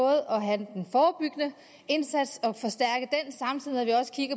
at have den forebyggende indsats